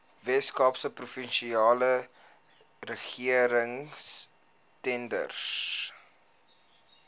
weskaapse provinsiale regeringstenders